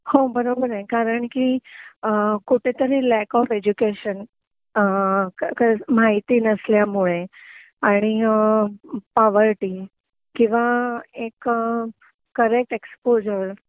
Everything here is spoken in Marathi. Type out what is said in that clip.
हो बरोबर आहे कारण कि कुठेतरी लॅक ऑफ एडुकेशन अ माहिती नसल्यामुळे आणि अ पॉवर्टी किंवा एक करेक्ट एक्सपोझर